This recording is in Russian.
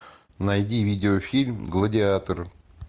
найди видео фильм гладиатор